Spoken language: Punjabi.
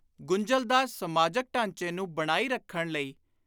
ਗੁੰਝਲਦਾਰ ਸਮਾਜਕ ਢਾਂਚੇ ਨੂੰ ਬਣਾਈ ਰੱਖਣ ਲਈ